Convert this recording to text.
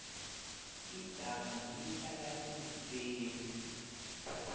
idamu lihlala iimfesi